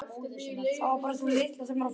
Það var bara sú litla sem var á förum.